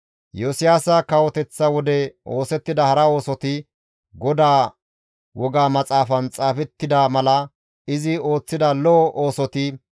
Iyosiyaasa kawoteththa wode oosettida hara oosoti, GODAA woga maxaafan xaafettida mala izi ooththida lo7o oosoti,